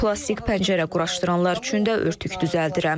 Plastik pəncərə quraşdıranlar üçün də örtük düzəldirəm.